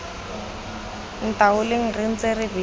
ntaoleng re ntse re beile